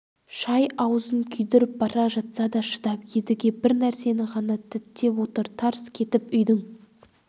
шай аузын күйдіріп бара жатса да шыдап едіге бір нәрсені ғана діттеп отыр тарс кетіп үйдің